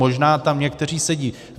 Možná tam někteří sedí.